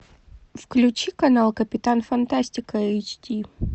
включи канал капитан фантастика эйч ди